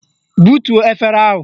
Butuo efere ahụ!